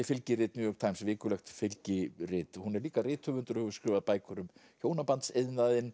fylgirit New York Times vikulegt fylgirit hún er líka rithöfundur og hefur skrifað bækur um